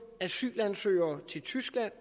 asylansøgere til tyskland